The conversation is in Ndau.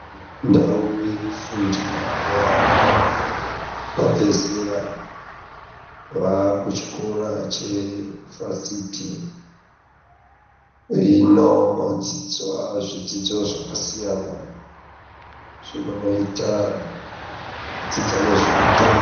Ndau yekufundira yeana abva zera vava kuchikora chevasiti inodzidzwa zvidzidzo zvakasiyana zvinoitwa kudzidza nezveutano.